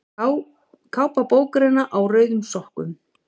Kápa bókarinnar Á rauðum sokkum.